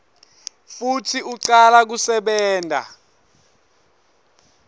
futsi ucala kusebenta